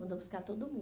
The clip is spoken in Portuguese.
Mandou buscar todo